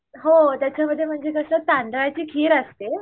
हो त्याच्यासारखं म्हणजे कसं तांदळाची खीर असतें